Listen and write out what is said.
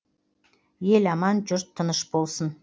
ел аман жұрт тыныш болсын